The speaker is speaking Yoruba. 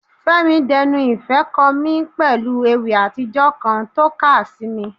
Fẹ́mi d'enu ìfẹ́ kọ mí pẹ̀lú Ewì àtijọ́ kan tó ká sí mi.